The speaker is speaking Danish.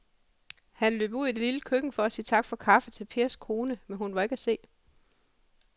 Han løb ud i det lille køkken for at sige tak for kaffe til Pers kone, men hun var ikke til at se.